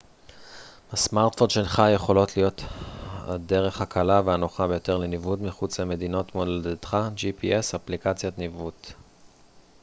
אפליקציות ניווט gps בסמרטפון שלך יכולות להיות הדרך הקלה והנוחה ביותר לניווט מחוץ למדינת מולדתך